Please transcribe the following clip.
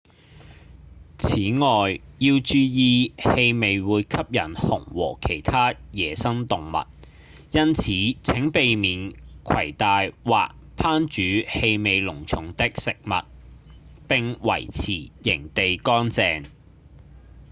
此外要注意氣味會吸引熊和其他野生動物因此請避免攜帶或烹煮氣味濃重的食物並維持營地乾淨